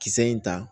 Kisɛ in ta